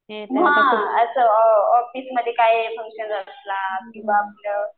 हां असं ऑफिस मध्ये काय फंक्शन असला किंवा आपलं